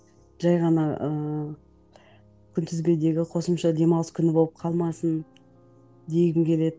жай ғана ыыы күнтізбедегі қосымша демалыс күні болып қалмасын дегім келеді